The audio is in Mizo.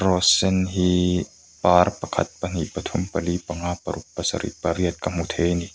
rose sen hii par pakhat pahnih pathum pali pangnga paruk pasarih pariat ka hmu thei a ni.